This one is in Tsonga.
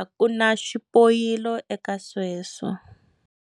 a ku na xipoyilo eka sweswo.